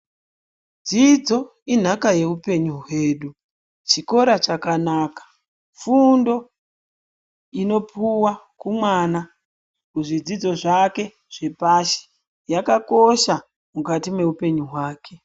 Dzidzo inhaka yeupenyu hwedu. Chikora chakanaka, fundo inopuwa kumwana muzvidzidzo zvake zvepashi yakakosha mukati meupenyu hwake.